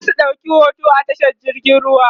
zasu ɗauki hoto a tashar jirgin ruwa